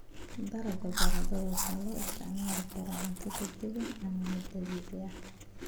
Dalagga baradhada waxaa loo isticmaali karaa cunno degdeg ah ama mid caadi ah.